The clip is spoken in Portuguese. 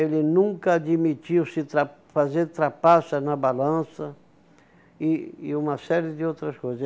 Ele nunca admitiu se trap fazer trapaça na balança e e uma série de outras coisas.